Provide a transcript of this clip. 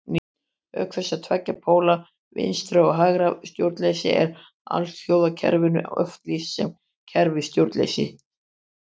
Auk þessara tveggja póla vinstra- og hægra stjórnleysis er alþjóðakerfinu oft lýst sem kerfi stjórnleysis.